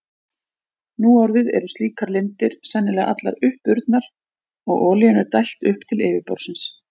Nú orðið eru slíkar lindir sennilega allar uppurnar og olíunni er dælt upp til yfirborðsins.